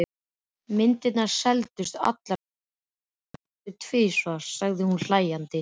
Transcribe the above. Myndirnar seldust allar og sumar næstum tvisvar, sagði hún hlæjandi.